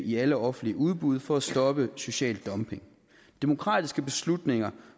i alle offentlige udbud for at stoppe social dumping demokratiske beslutninger